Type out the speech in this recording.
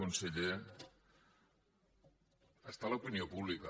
conseller està a l’opinió pública